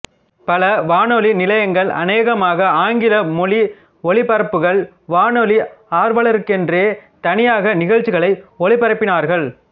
பல வானொலி நிலையங்கள் அநேகமாக ஆங்கில மொழி ஒலிபரப்புகள் வானொலி ஆர்வலர்களுக்கென்றே தனியாக நிகழ்ச்சிகளை ஒலிபரப்பினார்கள்